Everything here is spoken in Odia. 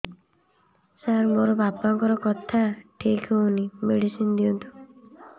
ସାର ମୋର ବାପାଙ୍କର କଥା ଠିକ ହଉନି ମେଡିସିନ ଦିଅନ୍ତୁ